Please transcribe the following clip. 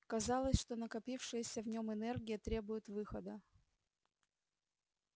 казалось что накопившаяся в нем энергия требует выхода